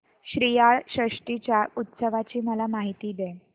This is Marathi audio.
श्रीयाळ षष्टी च्या उत्सवाची मला माहिती दे